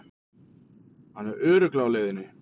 Hann er örugglega á leiðinni.